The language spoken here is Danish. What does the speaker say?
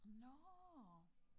Nåh